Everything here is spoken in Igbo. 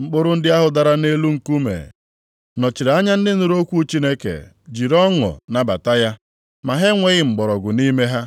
Mkpụrụ ndị ahụ dara nʼelu nkume nọchiri anya ndị nụrụ okwu Chineke jiri ọṅụ nabata ya, ma ha enweghị mgbọrọgwụ nʼime ha.